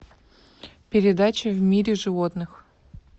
передача в мире животных